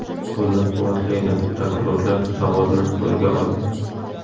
qo‘llab-quvvatlaydi... Prokurorlar zavodni qo‘lga olgan”.